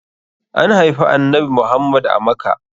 An haifi annanbi Muhammad a Makkah.